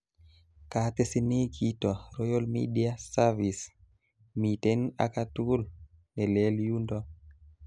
Katesini kito Royal media service, miten akatugul nelel undo